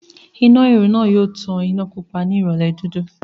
Iná ìrù náà tàn iná Pupa yòò ní ìrọ̀lẹ́ dúdú